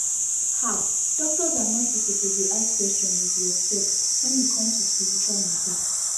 ah doctors and nurses suppose dey ask questions with respect wen e come to spiritual matter